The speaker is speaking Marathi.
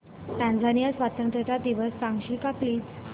टांझानिया स्वतंत्रता दिवस सांगशील का प्लीज